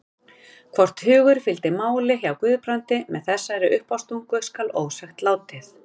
Hvort hugur fylgdi máli hjá Guðbrandi með þessari uppástungu skal ósagt látið.